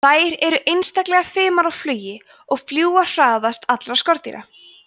þær eru einstaklega fimar á flugi og fljúga hraðast allra skordýra